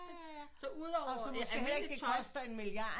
Så ud over almindeligt tøj